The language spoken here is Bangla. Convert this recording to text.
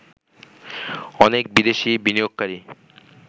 অনেক বিদেশি বিনিয়োগকারী